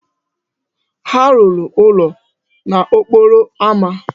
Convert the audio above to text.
Ha lụrụ ụlọ n'okporo ámá.